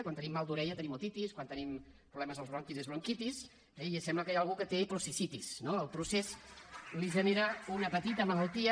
quan tenim mal d’orella tenim otitis quan tenim problemes als bronquis és bronquitis i sembla que hi ha algú que té processitis no el procés li genera una petita malaltia